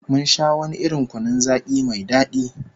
Mun sha wani irin kunun zaki mai dadi